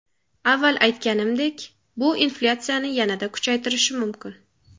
Avval aytganimdek, bu inflyatsiyani yanada kuchaytirishi mumkin.